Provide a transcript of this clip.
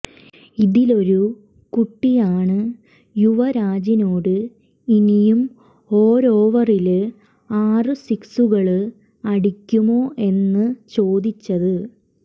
ഇതിലൊരു കുട്ടിയാണ് യുവരാജിനോട് ഇനിയും ഓരോവരില് ആറ് സിക്സുകള് അടിക്കുമോ എന്ന് ചോദിച്ചത്